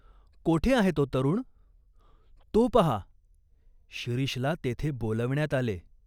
"कोठे आहे तो तरुण ?"" तो पाहा." शिरीषला तेथे बोलावण्यात आले.